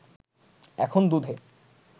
এখন দুধে